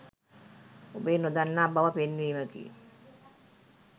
ඔබේ නොදන්නා බව පෙන්වීමකි.